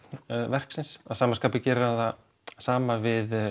verksins að sama skapi gerir hann það sama við